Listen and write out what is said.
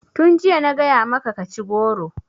Tun jiya na gaya maka ka ci goro!